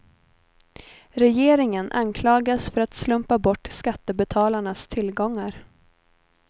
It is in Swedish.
Regeringen anklagas för att slumpa bort skattebetalarnas tillgångar.